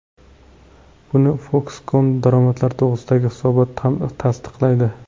Buni Foxconn daromadlari to‘g‘risidagi hisobot ham tasdiqlaydi.